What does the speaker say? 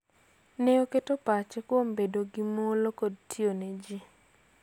Ne oketo pachne kuom bedo gi mwolo kod tiyo ne ji.